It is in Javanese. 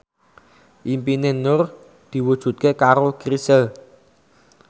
impine Nur diwujudke karo Chrisye